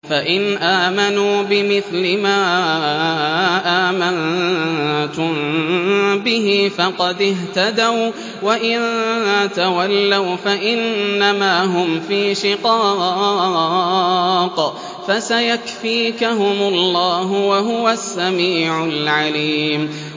فَإِنْ آمَنُوا بِمِثْلِ مَا آمَنتُم بِهِ فَقَدِ اهْتَدَوا ۖ وَّإِن تَوَلَّوْا فَإِنَّمَا هُمْ فِي شِقَاقٍ ۖ فَسَيَكْفِيكَهُمُ اللَّهُ ۚ وَهُوَ السَّمِيعُ الْعَلِيمُ